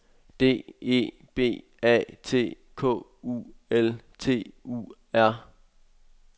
D E B A T K U L T U R